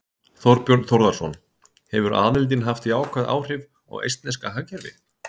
Þorbjörn Þórðarson: Hefur aðildin haft jákvæð áhrif á eistneska hagkerfið?